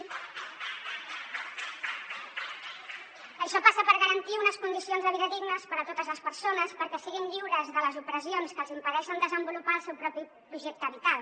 això passa per garantir unes condicions de vida dignes per a totes les persones perquè siguin lliures de les opressions que els impedeixen desenvolupar el seu propi projecte vital